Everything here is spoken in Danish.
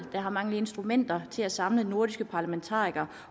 har manglet instrumenter til at samle nordiske parlamentarikere